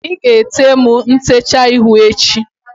ị ga-ete m ntecha ihu echi?